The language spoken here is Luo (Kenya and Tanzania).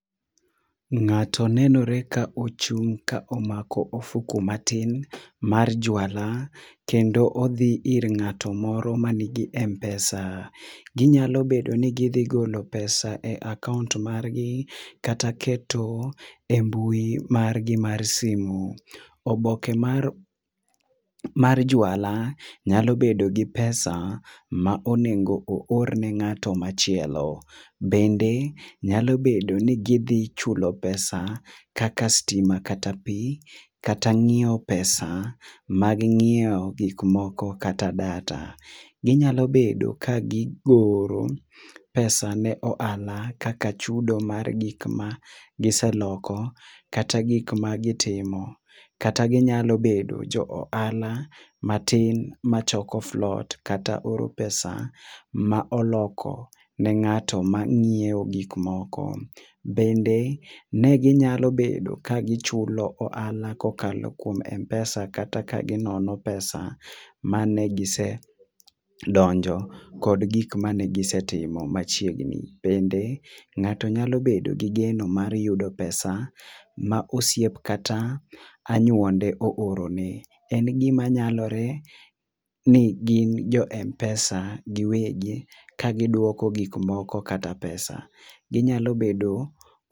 Ng'ato nenore ka ochung' ka omako ofuku matin mar juala, kendo odhi ir ng'ato moro manigi m-pesa. Ginyalo bedo ni gidhi golo pesa e akaont margi, kata keto embui margi mar simu. Oboke mar mar juala nyalo bedo gi pesa ma onego oor ne ng'ato machielo. Bende, nyalo bedo ni gidhi chulo pesa kaka stima kata pi, kata ng'iewo pesa mag ng'iewo gik moko kata data. Ginyalo bedo ka gigolo opesa ne ohala, kaka chudo mar gik ma giseloko kata gik magitimo. Kata ginyalo bedo jo ohala matin machoko float. Kata oro pesa ma oloko ni ng'at mang'iewo gik moko. Bende ne ginyalo bedo ka gichulo ohala kokalo kuom m-pesa kata ka ginono pesa mane gise donjo kod gik mane gisetimo machiegni. Bende ng'ato nyalo bedo gi geno mar yudo pesa ma osiep kata anyuonde oorone. En gima nyalore ni gin jo m- pesa giwegi ka giduoko gik moko kata pesa. Ginyalo bedo